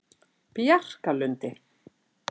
Bjarkalundi